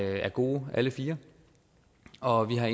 er gode alle fire og vi har